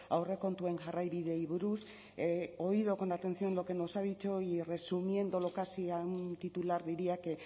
aurrekontuen jarraibideei buruz he oído con atención lo que nos ha dicho y resumiéndolo casi a un titular diría que